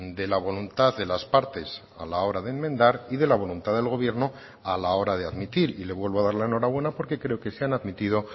de la voluntad de las partes a la hora de enmendar y de la voluntad del gobierno a la hora de admitir y le vuelvo a dar la enhorabuena porque creo que se han admitido